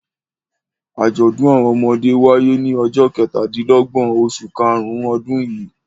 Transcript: Àjọ̀dún àwọn ọmọdé wáyé ní ọjọ́ kẹtàdínlọ́gbọ̀n oṣù karùn-ún ọdún yìí.